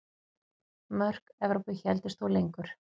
Mörk Evrópu héldust þó lengur.